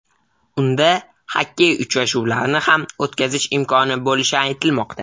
Unda xokkey uchrashuvlarini ham o‘tkazish imkoni bo‘lishi aytilmoqda.